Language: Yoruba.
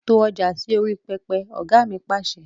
To ọjà sì orí pẹpẹ! Ọ̀gá mi Pàṣẹ.